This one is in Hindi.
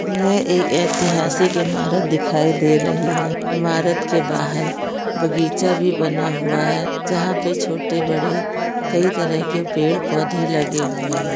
ये एक ऐतिहासिक इमारत दिखाई दे रही है इमारत के बाहर बगीचा भी बना हुआ है जहाँ पे छोटे बड़े कई तरह के पेड़ पौधे लगे हुए है।